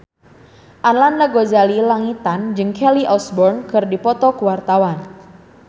Arlanda Ghazali Langitan jeung Kelly Osbourne keur dipoto ku wartawan